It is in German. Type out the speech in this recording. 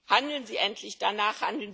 Handeln Sie endlich danach!